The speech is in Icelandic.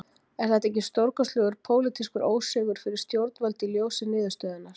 Er þetta ekki stórkostlegur pólitískur ósigur fyrir stjórnvöld í ljósi niðurstöðunnar?